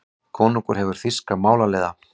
Konungur hefur þýska málaliða.